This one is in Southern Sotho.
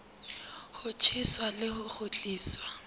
ho tjheswa le ho kgutliswa